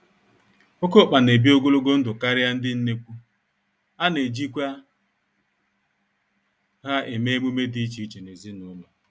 Oké ọkpa n'ebi ogologo ndụ karịa ndị nnekwu, anejikwa ha eme emume dị iche iche nezinụlọ.